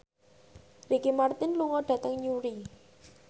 Ricky Martin lunga dhateng Newry